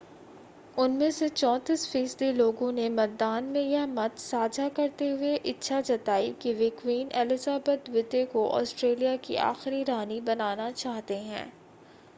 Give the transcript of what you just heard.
उनमें से 34 फ़ीसदी लोगों ने मतदान में यह मत साझा करते हुए इच्छा जताई कि वे क्वीन एलिज़ाबेथ द्वितीय को ऑस्ट्रेलिया की आखिरी रानी बनाना चाहते हैं